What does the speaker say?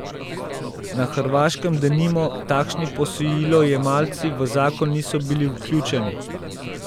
Na Hrvaškem denimo takšni posojilojemalci v zakon niso bili vključeni.